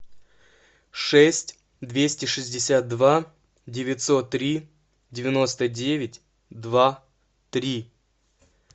шесть двести шестьдесят два девятьсот три девяносто девять два три